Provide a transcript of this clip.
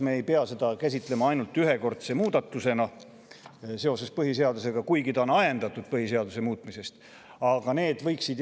Me ei pea seda käsitlema ainult ühekordse muudatusena, mis on seotud põhiseaduse muutmisega, kuigi ta on sellest ajendatud.